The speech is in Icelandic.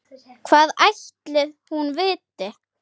Hvað ætli hún viti?